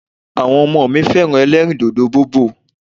Àwọn ọmọ mi fẹ́ràn ẹlẹ́rìì dòdò bobò.